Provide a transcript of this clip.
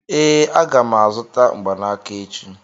ee, aga m azụta mgbanaka echi